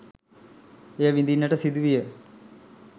එය විඳින්නට සිදුවිය.